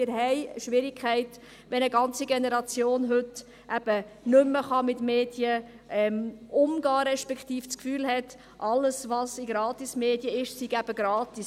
Wir haben Schwierigkeiten, wenn eine ganze Generation heute nicht mehr mit Medien umgehen kann, respektive das Gefühl hat, alles, was in Gratismedien stehe, sei eben gratis.